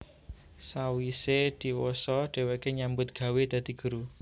Sawise diwasa dheweke nyambut gawé dadi guru